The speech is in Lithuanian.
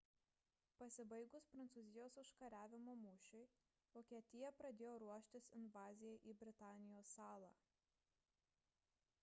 pasibaigus prancūzijos užkariavimo mūšiui vokietija pradėjo ruoštis invazijai į britanijos salą